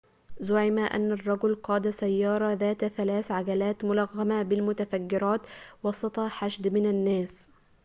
زُعم أن الرجل قاد سيارة ذات ثلاث عجلات ملغمة بالمتفجرات وسط حشد من الناس